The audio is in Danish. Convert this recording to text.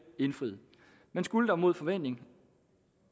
indfriet men skulle der mod forventning